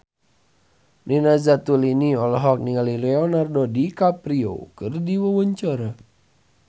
Nina Zatulini olohok ningali Leonardo DiCaprio keur diwawancara